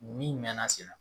Min mɛna sen na